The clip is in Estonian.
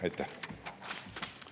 Aitäh!